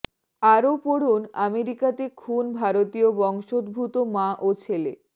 আরও পড়ুন আমেরিকাতে খুন ভারতীয় বংশোদ্ভূত মা ও ছেলে